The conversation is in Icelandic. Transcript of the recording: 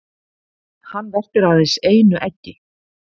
Hann verpir aðeins einu eggi.